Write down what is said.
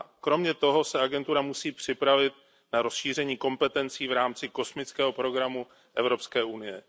Kromě toho se agentura musí připravit na rozšíření kompetencí v rámci kosmického programu Evropské unie.